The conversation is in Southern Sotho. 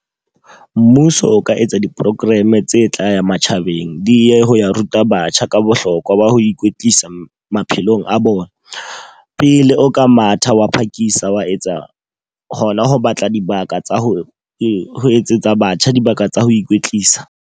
Mmuso o ka etsa di-program tse tla ya matjhabeng. Di ye ho ya ruta batjha ka bohlokwa ba ho ikwetlisa maphelong a bona. Pele o ka matha, wa phakisa, wa etsa ho na ho batla dibaka tsa ho etsetsa batjha dibaka tsa ho ikwetlisa.